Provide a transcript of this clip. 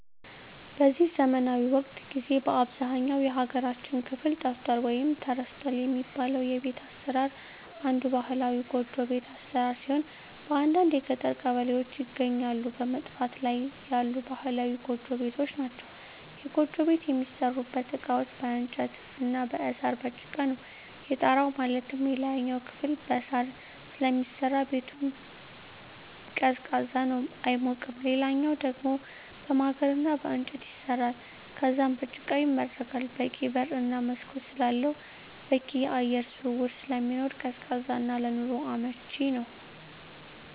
በዚህ ዘመናዊ ወቅት ጊዜ በአብዛኛው የሀገራችን ክፍል ጠፍቷል ወይም ተረስቷል የሚባለው የቤት አሰራር አንዱ ባህላዊ ጎጆ ቤት አሰራር ሲሆን በአንዳንድ የገጠር ቀበሌዎች ይገኛሉ በመጥፋት ላይ ያሉ ባህላዊ ጎጆ ቤቶች ናቸዉ። የጎጆ ቤት የሚሠሩበት እቃዎች በእንጨት እና በሳር፣ በጭቃ ነው። የጣራው ማለትም የላይኛው ክፍል በሳር ስለሚሰራ ሲሆን ቤቱ ቀዝቃዛ ነው አይሞቅም ሌላኛው ደሞ በማገር እና በእንጨት ይሰራል ከዛም በጭቃ ይመረጋል በቂ በር እና መስኮት ስላለው በቂ የአየር ዝውውር ስለሚኖር ቀዝቃዛ እና ለኑሮ አመቺ ነው።